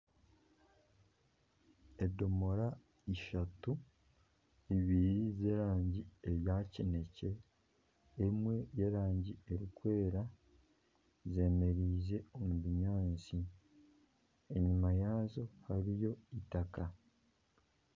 Edomora ishatu, ibiri z'erangi eya kinekye emwe y'erangi erikwera zemereize omu binyaatsi enyima yaazo hariyo itaka